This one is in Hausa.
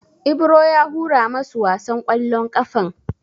Ibro ya hura masu wasan ƙwallon ƙafan.